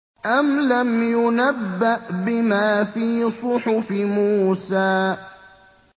أَمْ لَمْ يُنَبَّأْ بِمَا فِي صُحُفِ مُوسَىٰ